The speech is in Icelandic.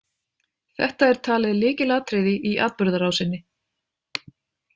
Þetta er talið lykilatriði í atburðarásinni.